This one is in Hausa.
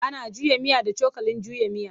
Ana juya miya da cokalin juya miya.